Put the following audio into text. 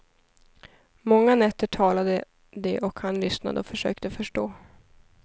Många nätter talade de, och han lyssnade och försökte förstå.